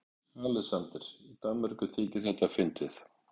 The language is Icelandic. ALEXANDER: Í Danmörku þykir þetta fyndið!